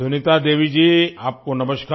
सुनीता देवी जी आपको नमस्कार